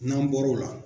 N'an bɔr'o la